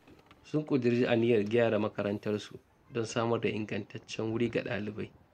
Sun ƙuduri aniyar gyara makarantarsu don samar da ingantaccen wuri ga ɗalibai.